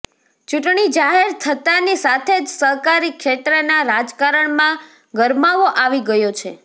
ચૂંટણી જાહેર થતાની સાથે જ સહકારી ક્ષેત્રના રાજકારણમાં ગરમાવો આવી ગયો છે